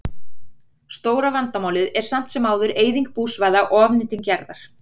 Stóra vandamálið er samt sem áður eyðing búsvæða og ofnýting jarðar.